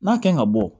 N'a kan ka bɔ